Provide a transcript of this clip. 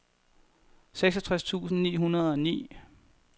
seksogtres tusind ni hundrede og ni